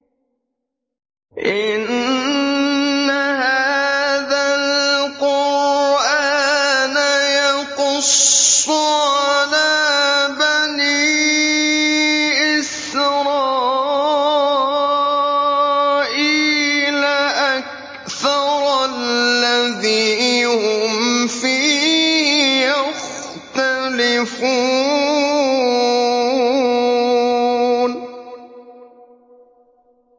إِنَّ هَٰذَا الْقُرْآنَ يَقُصُّ عَلَىٰ بَنِي إِسْرَائِيلَ أَكْثَرَ الَّذِي هُمْ فِيهِ يَخْتَلِفُونَ